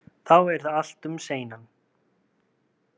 Þá yrði allt um seinan.